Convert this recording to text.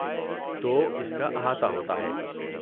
تو اس کا احاطہ ہوتا ہے۔